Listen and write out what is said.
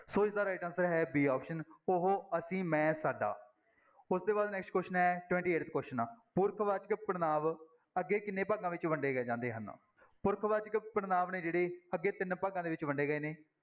ਸੋ ਇਸਦਾ right answer ਹੈ b option ਉਹ, ਅਸੀਂ, ਮੈਂ, ਸਾਡਾ ਉਸਦੇ ਬਾਅਦ next question ਹੈ twenty-eighth question ਪੁਰਖ ਵਾਚਕ ਪੜ੍ਹਨਾਂਵ ਅੱਗੇ ਕਿੰਨੇ ਭਾਗਾਂ ਵਿੱਚ ਵੰਡੇ ਜਾਂਦੇ ਹਨ, ਪੁਰਖਵਾਚਕ ਪੜ੍ਹਨਾਂਵ ਨੇ ਜਿਹੜੇ ਅੱਗੇ ਤਿੰਨ ਭਾਗਾਂ ਦੇ ਵਿੱਚ ਵੰਡੇ ਗਏ ਨੇ।